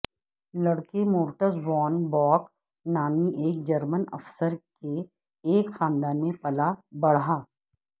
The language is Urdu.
لڑکے مورٹز وون باک نامی ایک جرمن افسر کے ایک خاندان میں پلا بڑھا